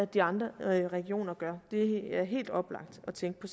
de andre regioner gør det er helt oplagt at tænke på